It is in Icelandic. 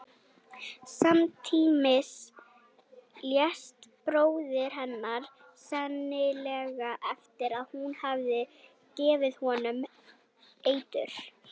Samtímis lést bróðir hennar, sennilega eftir að hún hafði gefið honum eitur.